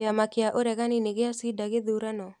Kĩama kĩa ũregani nĩ gĩacinda gĩthurano?